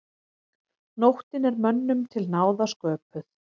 Nóttin er mönnum til náða sköpuð.